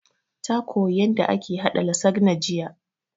Ta koya yanda ake haɗa lasagna jiya